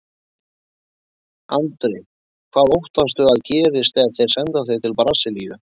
Andri: Hvað óttastu að gerist ef þeir senda þig til Brasilíu?